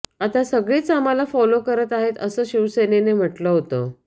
आता सगळेच आम्हाला फॉलो करत आहेत असं शिवसेनेनं म्हटलं होतं